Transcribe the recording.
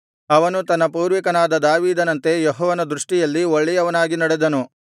ಅವನು ತನ್ನ ಪೂರ್ವಿಕನಾದ ದಾವೀದನಂತೆ ಯೆಹೋವನ ದೃಷ್ಟಿಯಲ್ಲಿ ಒಳ್ಳೆಯವನಾಗಿ ನಡೆದನು